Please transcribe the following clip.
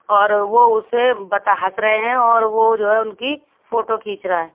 और वो उसे बता हँस रहे हैं और वो जो है उनकी फोटो खींच रहा है।